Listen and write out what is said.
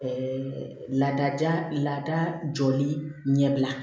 laada lada jɔli ɲɛbila